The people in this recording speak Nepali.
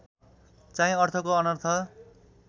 चाहिँ अर्थको अनर्थ